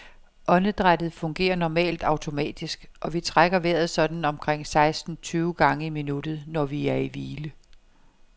Åndedrættet fungerer normalt automatisk, og vi trækker vejret sådan omkring seksten tyve gange i minuttet, når vi er i hvile.